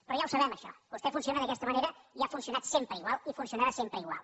però ja ho sabem això vostè funciona d’aquesta manera i ha funcionat sempre igual i funcionarà sempre igual